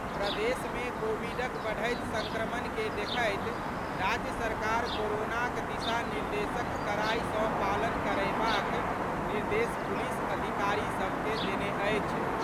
प्रदेशमे कोविडक बढ़ैत सङ्क्रमण के देखैत राज्य सरकार कोरोनाक दिशा निर्देशक कड़ाइ सँ पालन करयबाक निर्देश पुलिस अधिकारी सभकेँ देने अछि।